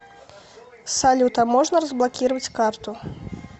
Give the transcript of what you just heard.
салют а можно разблокировать карту